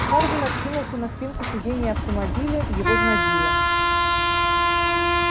хардин откинулся на спинку сидения автомобиля его знобило